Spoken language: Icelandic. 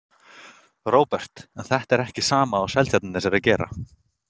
Róbert: En er þetta ekki sama og Seltjarnarnes er að gera?